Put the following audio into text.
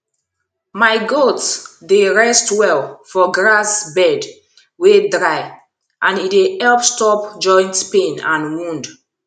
my goats dey rest well for grass bed wey dry and e dey help stop joint pain and wound